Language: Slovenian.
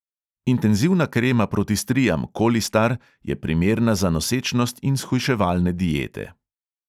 Intenzivna krema proti strijam kolistar je primerna za nosečnost in shujševalne diete.